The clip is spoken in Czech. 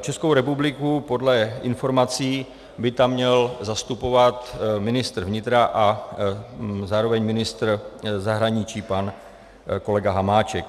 Českou republiku podle informací by tam měl zastupovat ministr vnitra a zároveň ministr zahraničí pan kolega Hamáček.